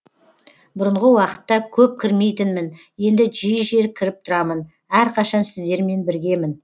бұрынғы уақытта көп кірмейтінмін енді жиі жиі кіріп тұрамын әрқашан сіздермен біргемін